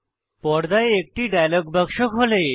পর্দায় একটি ডায়লগ বাক্স খোলে